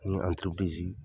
N ye anterepirizi